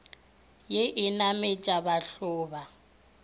ye e nametša bathlo ba